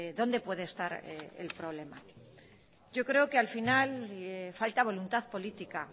dónde puede estar el problema yo creo que al final falta voluntad política